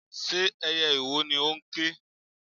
Ṣé ẹyẹ ìwò ni ó ń ké?